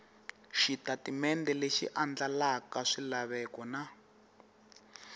xitatimende lexi andlalaka swilaveko na